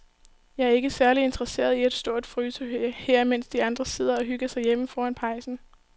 Jeg er ikke særlig interesseret i at stå og fryse her, mens de andre sidder og hygger sig derhjemme foran pejsen.